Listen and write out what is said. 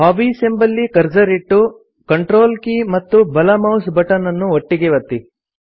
hobbies ಎಂಬಲ್ಲಿ cursor ಇಟ್ಟು control K ಮತ್ತು ಬಲ ಮೌಸ್ ಬಟನ್ ಅನ್ನು ಒಟ್ಟಿಗೆ ಒತ್ತಿ